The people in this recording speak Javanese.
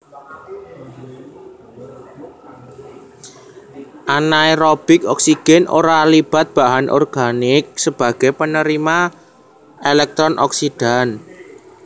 Anaerobik oksigen ora libat bahan organik sebagai penerima elektron oksidan